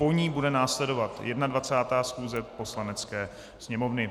Po ní bude následovat 21. schůze Poslanecké sněmovny.